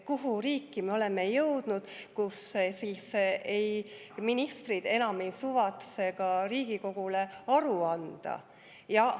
Kuhu, millisesse riiki me oleme jõudnud, kui ministrid enam ei suvatse Riigikogule aru anda?